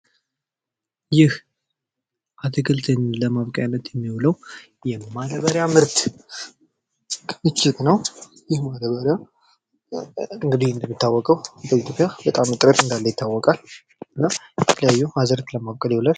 ይህ አትክልትን ለማብቀያነት የሚዉለው የማዳበሪያ ምርት ክምችት ነው ፤ ይህ ማዳበሪያ በኢትዮጵያ የተለያየ ጥቅም እንዳለው ይታወቃል እና የተለያዩ አዝእርትን ለማብቀል ይዉላል።